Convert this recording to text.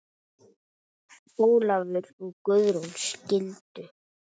Ólafur og Guðrún skildu.